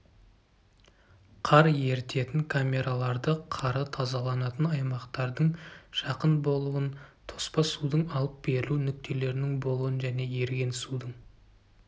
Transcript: қар ерітетін камераларды қары тазаланатын аймақтардың жақын болуын тоспа судың алып берілу нүктелерінің болуын және еріген судың